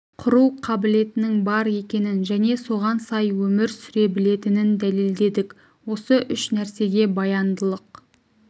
құру қабілетінің бар екенін және соған сай өмір сүре білетінін дәлелдедік осы үш нәрсеге баяндылық